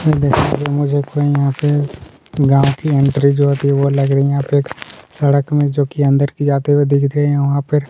पेड़ दिखाई दे मुझे कोई यहाँ पर गांव की एंट्री जो होती है वह लग रही यहाँ पे सड़क में जो कि अंदर आते हुए दिख रहे वहाँ पे--